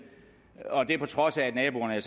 og det er på trods af at naboerne